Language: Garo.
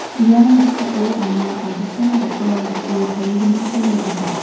ia noksao anga adita bakra dake tarigiminko nikaha.